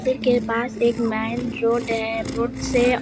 मंदिर के पास एक मैन रोड है रोड से --